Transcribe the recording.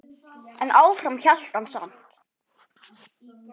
En áfram hélt hann samt.